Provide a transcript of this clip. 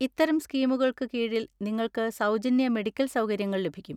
ഇത്തരം സ്കീമുകൾക്ക് കീഴിൽ നിങ്ങൾക്ക് സൗജന്യ മെഡിക്കൽ സൗകര്യങ്ങൾ ലഭിക്കും.